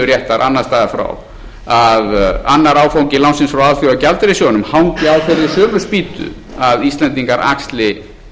réttar annars staðar frá að annar áfangi lánsins frá alþjóðagjaldeyrissjóðnum hangi á þeirri sömu spýtu að íslendingar axli